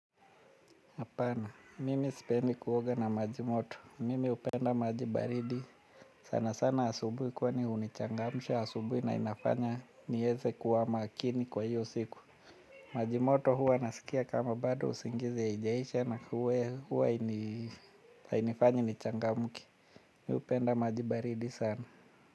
Hapana, mimi sipendi kuoga na majimoto, mimi hupenda maji baridi, sana sana asubuhi kwani hunichangamsha, asubuhi na inafanya niweze kuwa makini kwa hiyo siku. Majimoto huwa nasikia kama bado usingizi haijaisha na huwa hainifanyi nichangamke. Mi hupenda majibaridi sana.